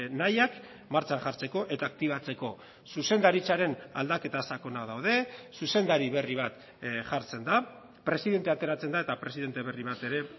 nahiak martxan jartzeko eta aktibatzeko zuzendaritzaren aldaketa sakonak daude zuzendari berri bat jartzen da presidente ateratzen da eta presidente berri bat ere